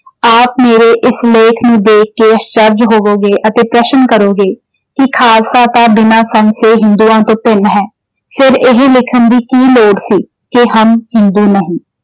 ਆਪ ਮੇਰੇ ਇਸ ਲੇਖ ਨੂੰ ਦੇਖ ਕੇ ਅਸਚਰਜ ਹੋਵੇਗੇ ਅਤੇ ਪ੍ਰਸ਼ਨ ਕਰੋਗੇ ਕਿ ਖਾਲਸਾ ਤਾਂ ਬਿਨਾਂ ਤੋਂ ਹਿੰਦੂਆਂ ਤੋਂ ਭਿੰਨ ਹੈ ਫਿਰ ਇਹ ਲਿਖਣ ਦੀ ਕੀ ਲੋੜ ਸੀ। ਕਿ ਹਮ ਹਿੰਦੂ ਨਹੀਂ।